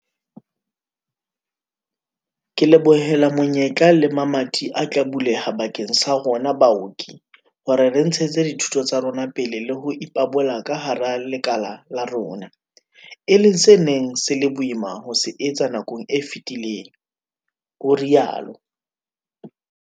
"Ke lebohela menyetla le mamati a tla buleha bakeng sa rona baoki hore re ntshetse dithuto tsa rona pele le ho ipabola ka hara lekala la rona, e leng se neng se le boima ho se etsa nakong e fetileng," o rialo.